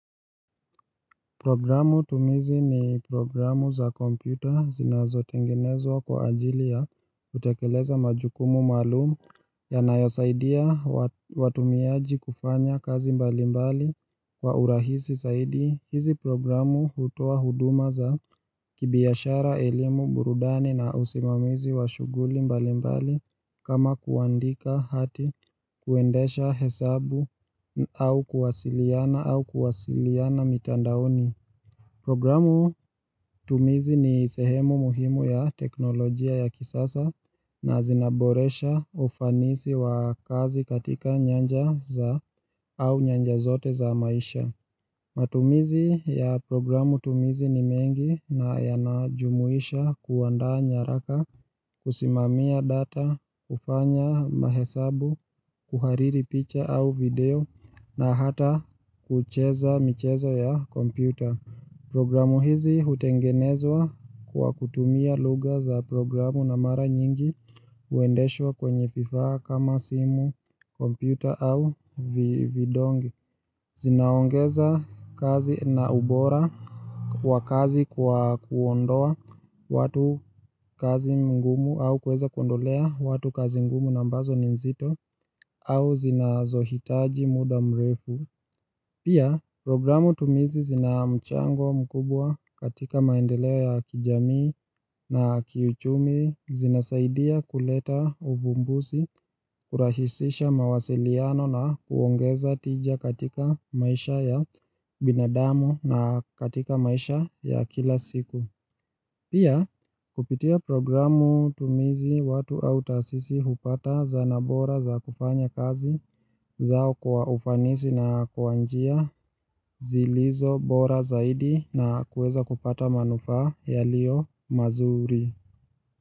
Programu tumizi ni programu za kompyuta zinazotengenezwa kwa ajili ya kutekeleza majukumu maalum yanayosaidia watumiaji kufanya kazi mbali mbali kwa urahisi zaidi. Hizi programu hutoa huduma za kibiashara, elimu, burudani na usimamizi wa shughuli mbali mbali kama kuandika hati kuendesha hesabu au kuwasiliana au kuwasiliana mitandaoni. Programu tumizi ni sehemu muhimu ya teknolojia ya kisasa na zinaboresha ufanisi wa kazi katika nyanja za au nyanja zote za maisha. Matumizi ya programu tumizi ni mengi na yanajumuisha kuandaa nyaraka, kusimamia data, kufanya mahesabu, kuhariri picha au video na hata kucheza michezo ya kompyuta. Programu hizi hutengenezwa kwa kutumia lugha za programu na mara nyingi huendeshwa kwenye fifaa kama simu, kompyuta au vidonge. Zinaongeza kazi na ubora wa kazi kwa kuondoa watu kazi ngumu au kuweza kondolea watu kazi mgumu na ambazo ni nzito au zinazohitaji muda mrefu. Pia, programu tumizi zina mchango mkubwa katika maendeleo ya kijamii na kiuchumi, zinasaidia kuleta uvumbusi, kurahisisha mawasiliano na kuongeza tija katika maisha ya binadamu na katika maisha ya kila siku. Pia, kupitia programu tumizi watu au tasisi hupata zana bora za kufanya kazi zao kwa ufanisi na kwa njia zilizo bora zaidi na kuweza kupata manufaa yaliyo mazuri.